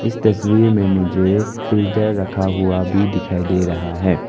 तस्वीर में मुझे फिल्टर रखा हुआ भी दिखाई दे रहा है।